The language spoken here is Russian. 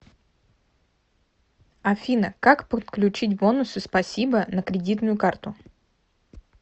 афина как подключить бонусы спасибо на кредитную карту